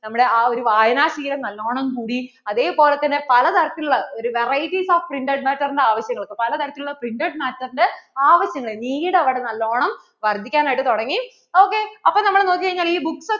നമ്മടെ ആ ഒരു വായന ശീലം നല്ലോണം കൂടി, അതേപോലെ തന്നെ പലതരത്തിൽ ഉള്ള ഒരു varieties of printed matter ന്‍റെ ആവശ്യങ്ങൾക്കു പലതരത്തില്‍ ഉള്ള printer matter ന്‍റെ ആവശ്യങ്ങള്‍ need അവിടെ നല്ലോണം വർദ്ധിക്കാൻ ആയിട്ട് തുടങ്ങി ok അപ്പോൾ നമ്മൾ നോക്കി കഴിഞ്ഞാൽ ഈ books ഒക്കെ